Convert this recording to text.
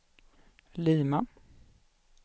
Lima